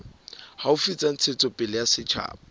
haufi tsa ntshetsopele ya setjhaba